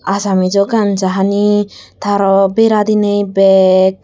asamiso ganja hani tey aro bera diney bag.